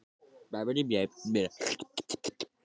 Ætlaði bara að drífa sig sem fyrst til Parísar.